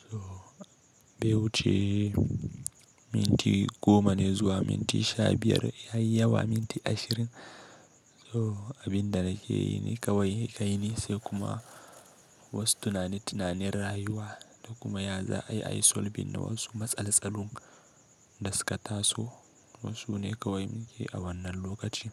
So, bai wuce minti goma ne zuwa minti sha biyar, yayi yawa minti ashirin. So abin da na ke yi ne kawai kai ni sai kuma wasu tunani-tunanin rayuwa da kuma yaza'a, ayi solbin na wasu matsaltsalun da suka taso. Wasu ne kawai muke a wannan lokacin.